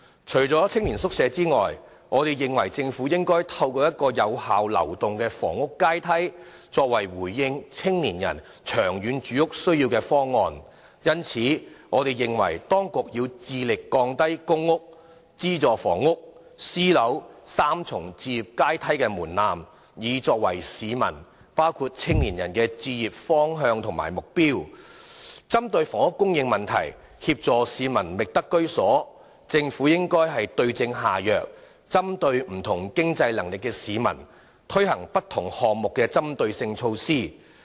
除了青年宿舍外，政府亦應以有效流動的房屋階梯作為回應青年人長遠住屋需要的方案。因此，我們認為當局要致力降低"公屋—資助房屋—私人樓宇"三層置業階梯的門檻，以作為市民的置業方向和目標。要針對房屋供應問題，協助市民覓得居所，政府應該對症下藥，針對不同經濟能力的市民，推行不同項目的針對性措施。